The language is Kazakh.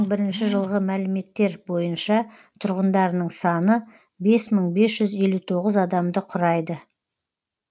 бірінші жылғы мәліметтер бойынша тұрғындарының саны бес мың бес жүз елу тоғыз адамды құрайды